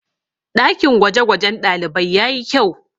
ɗakin gwagwajen ɗalibai ya yi kyau